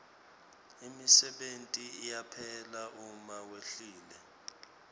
imisebenti iyaphela uma wehlile